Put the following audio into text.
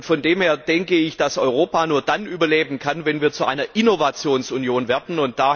Von dem her denke ich, dass Europa nur dann überleben kann, wenn wir zu einer Innovationsunion werden.